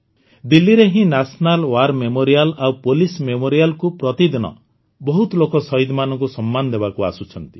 ଦିଲ୍ଲୀରେ ହିଁ national war memorial ଆଉ ପୋଲିସ ମେମୋରିଆଲକୁ ପ୍ରତିଦିନ ବହୁତ ଲୋକ ସହୀଦମାନଙ୍କୁ ସମ୍ମାନ ଦେବାକୁ ଆସୁଛନ୍ତି